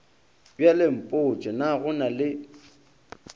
bjalempotše na go na le